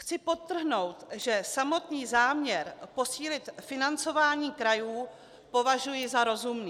Chci podtrhnout, že samotný záměr posílit financování krajů považuji za rozumný.